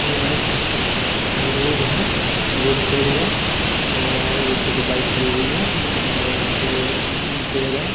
यह एक रोड है रोड दिखाई दे रहा है और रोड पे दो बाइक खड़ी हुई है और यहाँ पे पेड़ है ।